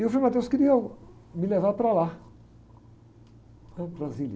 E o Frei queria me levar para lá, para Brasília.